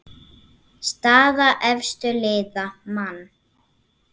Staða efstu liða: Man.